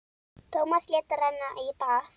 Tómas lét renna í bað.